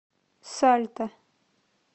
сальта